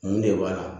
Mun de b'a la